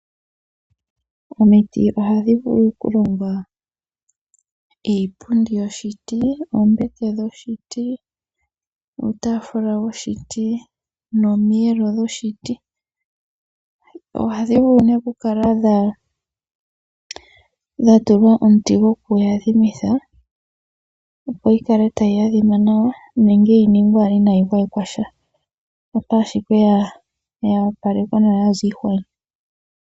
Omiti ohadhi vulu okulonga iipundi yoshiti, oombete dhoshiti, uutafula woshiti, nomiyelo dhoshiti. Ohadhi vulu nee okukala dha tulwa omuti gokuyadhimitha opo yi kale tayi adhima nawa nenge yi ningwe owala inayi gwayekwa sha. Mpoka ashike ya opalekwa nawa yaza iihwa.